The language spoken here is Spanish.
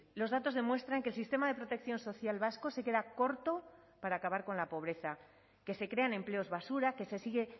los datos demuestran que el sistema de protección social vasco se queda corto para acabar con la pobreza que se crean empleos basura que se sigue